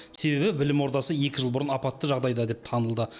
себебі білім ордасы екі жыл бұрын апатты жағдайда деп танылды